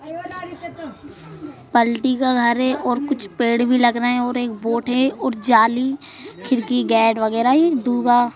पल्टी का घर है और कुछ पेड़ भी लग रहे हैं और एक बोट है और जाली खिड़की गैट वगैरह दूगा--